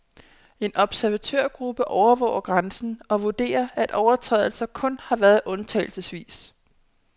En observatørgruppe overvåger grænsen og vurderer, at overtrædelser kun har været undtagelsesvis.